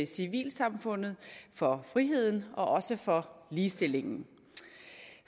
civilsamfundet for friheden og også for ligestillingen